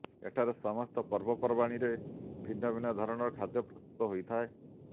ଏଠାରେ ସମସ୍ତ ପର୍ବପର୍ବାଣୀରେ ଭିନ୍ନ ଭିନ୍ନ ଧରଣର ଖାଦ୍ୟ ପ୍ରସ୍ତୁତ ହୋଇଥାଏ